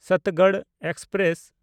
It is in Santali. ᱥᱚᱛᱛᱚᱜᱚᱲ ᱮᱠᱥᱯᱨᱮᱥ